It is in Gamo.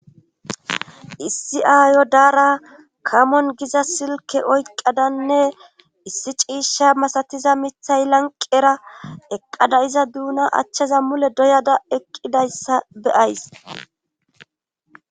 issi aayo daara kamon giza silke oyqqadanne issi ciishsha masatiza mithay lanqera eqqada iza duuna achchaza mule doyada eqqidayssa beyays